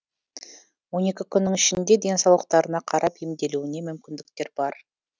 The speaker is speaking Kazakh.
он екі күннің ішінде денсаулықтарына қарап емделуіне мүмкіндіктер бар